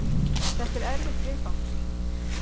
Þetta er erfitt viðfangs.